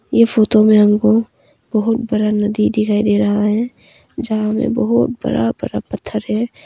ये फोतो में हमको बहुत बरा नदी दिखाई दे रहा है। जहां में बहुत बरा बरा पत्थर है।